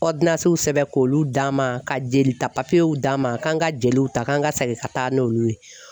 sɛbɛn k'olu d'a ma, ka jeli ta papiyew d'a ma k'an ka jeliw ta kan ka segin ka taa n'olu ye.